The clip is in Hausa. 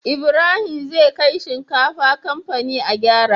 Ibrahim zai kai shinkafa kamfani a gyara